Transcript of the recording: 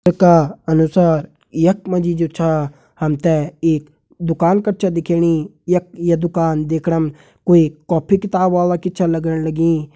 चित्र का अनुसार यख मा जी जु छा हम ते एक दुकान कर छा दिखेणी यख ये दुकान देखणम कोई कॉपी किताब वाला की छ लगण लगीं।